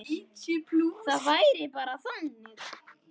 Það væri bara þannig.